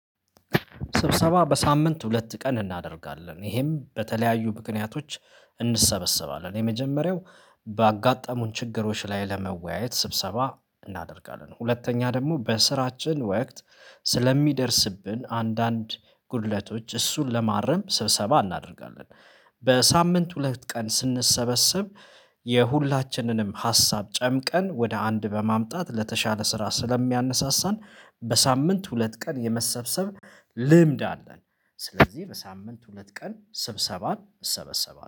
ስብሰባ በሳምንት ሁለት ቀን እናደርጋለን ይሄም በተለያዩ ምክንያቶች እንሰበሰባለን የመጀመሪያው ባጋጠሙን ችግሮች ላይ ለመወያየት ስብሰባ እናደርጋለን ሁለተኛ ደግሞ በስራችን ወቅት ስለሚደርስብን አንዳንድ ጉድለቶች እሱን ለማረም ስብሰባ እናደርጋለን። በሳምንት ሁለት ቀን ስንሰበሰብ የሁላችንንም ሀሳብ ጨምቀን ወደ አንድ በማምጣት ለተሻለ ስራ ስለሚያነሳሳን በሳምንት ሁለት ቀን የመሰብሰብ ልምድ አለን። ስለዚህ በሳምንት ሁለት ቀን ስብሰባ እሰበሰባለሁ